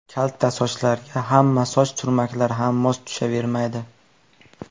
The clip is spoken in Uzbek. Kalta sochlarga hamma soch turmaklari ham mos tushavermaydi.